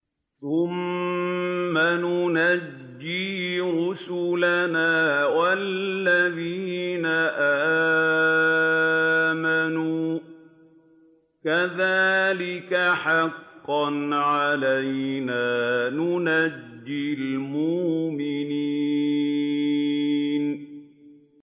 ثُمَّ نُنَجِّي رُسُلَنَا وَالَّذِينَ آمَنُوا ۚ كَذَٰلِكَ حَقًّا عَلَيْنَا نُنجِ الْمُؤْمِنِينَ